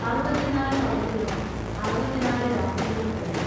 അറുപത്തിനാലു പകലുകളും അറുപത്തിനാലു രാത്രികളും കഴിഞ്ഞു.